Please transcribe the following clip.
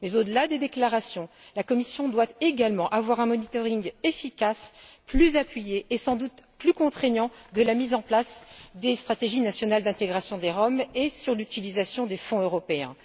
Mais, au delà des déclarations, la Commission doit également exercer un contrôle efficace, plus appuyé et sans doute plus contraignant de la mise en place des stratégies nationales d'intégration des Roms et de l'utilisation des fonds européens.